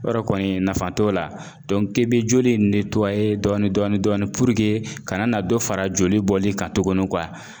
Yɔrɔ kɔni nafa t'o la k'i bɛ joli in dɔɔnin dɔɔnin ka na dɔ fara joli bɔli kan tuguni